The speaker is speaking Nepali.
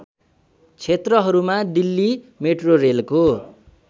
क्षेत्रहरूमा दिल्ली मेट्रोरेलको